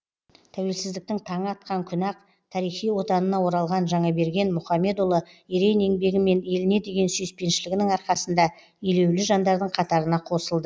тәуелсіздіктің таңы атқан күні ақ тарихи отанына оралған жаңаберген мұхамедұлы ерен еңбегі мен еліне деген сүйіспеншілігінің арқасында елеулі жандардың қатарына қосылды